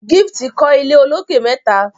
Gift kò ilé olokè mẹta.